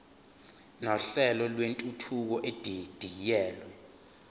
nohlelo lwentuthuko edidiyelwe